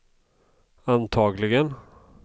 antagligen